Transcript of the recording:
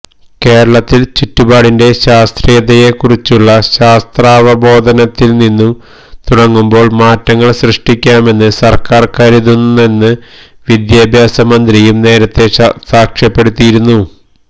കേരളത്തില് ചുറ്റുപാടിന്റെ ശാസ്ത്രീയതയെക്കുറിച്ചുള്ള ശാസ്ത്രാവബോധത്തില്നിന്നു തുടങ്ങുമ്പോള് മാറ്റങ്ങള് സൃഷ്ടിക്കാമെന്ന് സര്ക്കാര് കരുതുന്നതെന്ന് വിദ്യാഭ്യാസ മന്ത്രിയും നേരത്തെ സാക്ഷ്യപ്പെടുത്തിയിരുന്നു